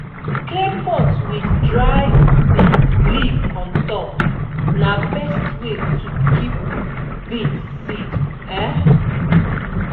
clay pot with dry um leaf on top na best way to keep beans seed um